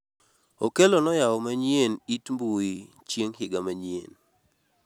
okello noyawo manyien it mbui chieng' higa manyien